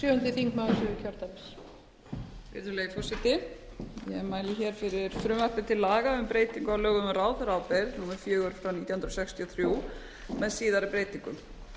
virðulegi forseti ég mæli hér fyrir frumvarpi til aga um breytingu á lögum um ráðherraábyrgð númer fjögur nítján hundruð sextíu og þrjú með síðari breytingum